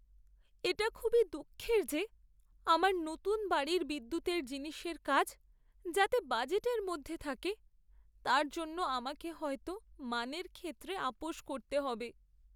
এটা খুবই দুঃখের যে, আমার নতুন বাড়ির বিদ্যুতের জিনিসের কাজ যাতে বাজেটের মধ্যে থাকে তার জন্য আমাকে হয়তো মানের ক্ষেত্রে আপস করতে হবে।